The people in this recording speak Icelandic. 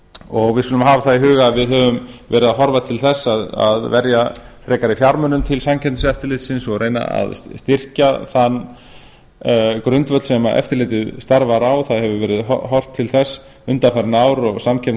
og við skulum hafa það í huga að við höfum verið að horfa til þess að verja frekari fjármunum til samkeppniseftirlitsins og reyna að styrkja þann grundvöll sem eftirlitið starfar á það hefur verið horft til þess undanfarin ár og